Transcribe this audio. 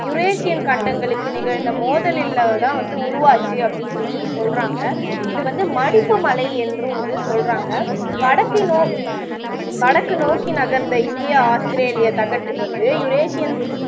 Eurasian கண்டங்களுக்கு நிகழ்ந்த மோதலில்ல தான் வந்து உருவாச்சு அப்படி சொல்லி சொல்லுறாங்க இது வந்து மடிப்புமலை என்றும் வந்து சொல்லுறாங்க வடக்கு நோ வடக்கு நோக்கி நகர்ந்த இந்தியா ஆஸ்திரேலிய தகட்டுக்கு வந்து யுரேஷியன்